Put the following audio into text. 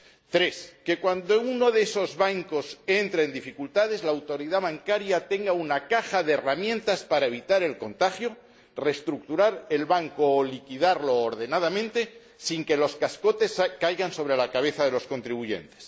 tercero, que, cuando uno de esos bancos entre en dificultades, la autoridad bancaria tenga una caja de herramientas para evitar el contagio, reestructurar el banco o liquidarlo ordenadamente sin que los cascotes caigan sobre la cabeza de los contribuyentes